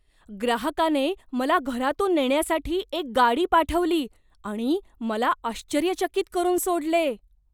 ग्राहकाने मला घरातून नेण्यासाठी एक गाडी पाठवली आणि मला आश्चर्यचकित करून सोडले.